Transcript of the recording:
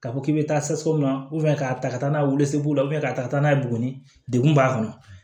K'a fɔ k'i bɛ taa sɛso min na k'a ta ka taa n'a ye sebu la k'a taa n'a ye tuguni de b'a kɔnɔ